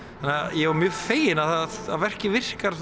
ég var mjög feginn að verkið virkar